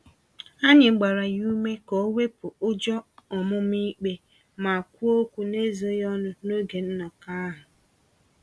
Anyị gbara ya ume ka owepụ ụjọ ọmụma-ikpe, ma kwuo okwu n'ezoghị ọnụ n'oge nnọkọ ahụ.